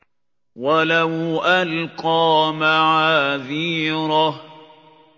وَلَوْ أَلْقَىٰ مَعَاذِيرَهُ